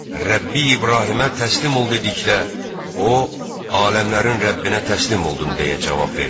Rəbbi İbrahimə təslim ol dedikdə, o, aləmlərin Rəbbinə təslim oldun deyə cavab vermişdi.